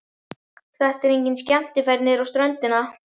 Þetta er engin skemmtiferð niður á ströndina.